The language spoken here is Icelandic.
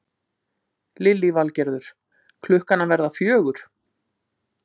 Lillý Valgerður: Klukkan að verða fjögur?